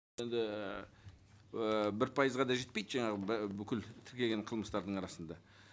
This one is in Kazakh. енді ііі бір пайызға да жетпейді жаңағы бүкіл тіркеген қылмыстардың арасында